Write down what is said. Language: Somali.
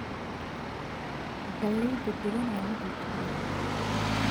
Galleyda duban waa mid la jecel yahay.